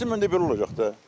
Yığışdırmayın da belə olacaq da.